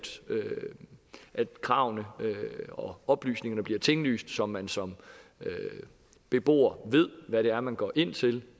kravene og oplysningerne bliver tinglyst så man som beboer ved hvad det er man går ind til